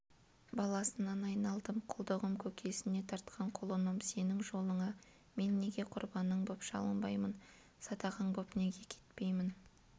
баласынан айналдым құлдығым көкесіне тартқан құлыным сенің жолыңа мен неге құрбаның боп шалынбаймын садағаң боп неге кетпеймін